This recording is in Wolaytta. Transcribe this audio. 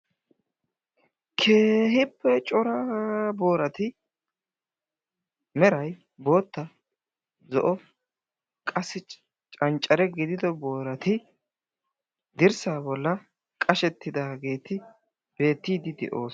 Keehippe cora boorati meray bootta, zo'o qassi canccare giidido boorati dirssa bollaa qashshetidaageeti beettiidi de'oosona.